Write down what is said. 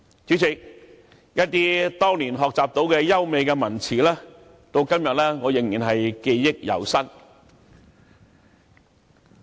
主席，我當年學習到的一些優美文辭，到今天仍然記憶猶新。